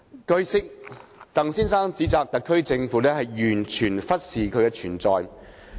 據悉，鄧先生指責特區政府"完全忽視其存在"。